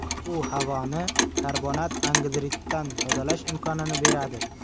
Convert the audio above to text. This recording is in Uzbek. U havoni karbonat angidriddan tozalash imkonini beradi.